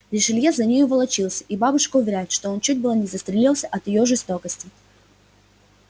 ришелье за нею волочился и бабушка уверяет что он чуть было не застрелился от её жестокости